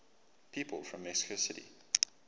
people from mexico city